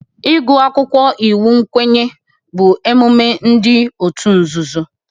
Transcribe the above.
Ịgụ akwụkwọ iwu nkwenye bụ emume ndị otu nzuzo